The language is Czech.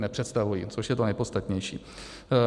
Nepředstavují, což je to nejpodstatnější.